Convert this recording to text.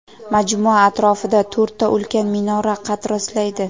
Majmua atrofida to‘rtta ulkan minora qad rostlaydi.